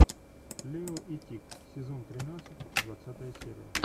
лео и тиг сезон тринадцать двадцатая серия